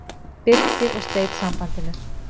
Birkir og sleit sambandinu.